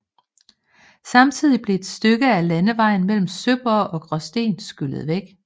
Samtidig blev et stykke af landevejen mellem Sønderborg og Gråsten skyllet væk